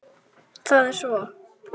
Það er svo.